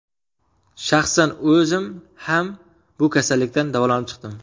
Shaxsan o‘zim ham bu kasallikdan davolanib chiqdim.